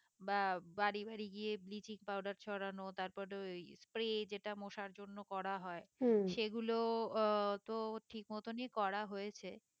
বা বাড়ি বাড়ি গিয়ে ব্লিচিং পাউডার ছড়ানো তারপর ওই spray যেটা মশার জন্য করা হয় সেগুলো আহ তো ঠিক মতনই করা হয়েছে